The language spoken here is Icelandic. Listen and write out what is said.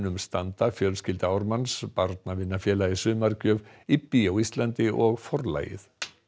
standa fjölskylda Ármanns Barnavinafélagið sumargjöf IBBY á Íslandi og Forlagið